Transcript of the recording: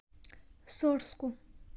сорску